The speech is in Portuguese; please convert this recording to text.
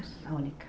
A única.